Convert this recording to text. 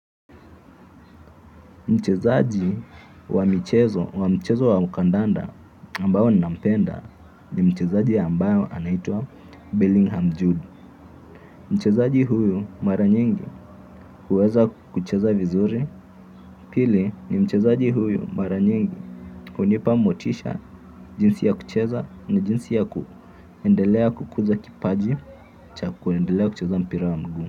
Mchezaji wa michezo wa mchezo wa kandanda ambaye nampenda ni mchezaji ambaye anaitwa Bellingham Jude. Mchezaji huyu mara nyingi huweza kucheza vizuri pili ni mchezaji huyu mara nyingi hunipa motisha jinsi ya kucheza ni jinsi ya kuendelea kukuza kipaji cha kuendelea kucheza mpira wa mguu.